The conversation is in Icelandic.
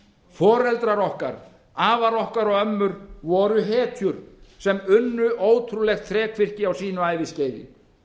foreldrar okkar afar okkar og ömmur voru hetjur sem unnu ótrúlegt þrekvirki á sínu æviskeiði